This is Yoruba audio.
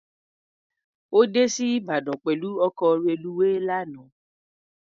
Ó dé sí Ìbàdàn pẹ̀lú ọkọ̀ reluwé lánàá.